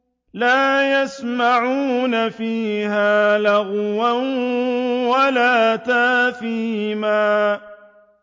لَا يَسْمَعُونَ فِيهَا لَغْوًا وَلَا تَأْثِيمًا